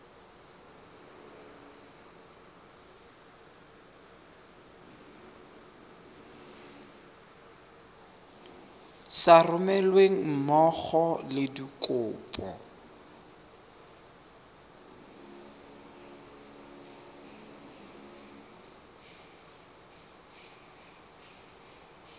sa romelweng mmogo le dikopo